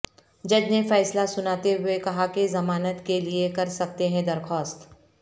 جج نے فیصلہ سناتے ہوئے کہا کہ ضمانت کے لئے کر سکتے ہیں درخواست